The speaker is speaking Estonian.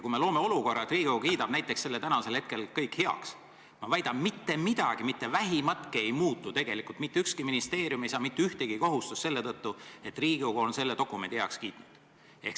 Kui me loome olukorra, et Riigikogu kiidab näiteks selle täna kõik heaks, siis ma väidan, et mitte midagi, mitte vähimatki ei muutu tegelikult, mitte ükski ministeerium ei saa mitte ühtegi kohustust selle tõttu, et Riigikogu on selle dokumendi heaks kiitnud.